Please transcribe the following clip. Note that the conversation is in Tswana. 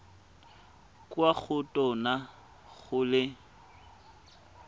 kwa go tona go le